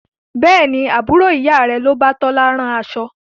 Bẹ́ẹ̀ni, Àbúrò ìyá rẹ ni o bá Tola rán aṣọ.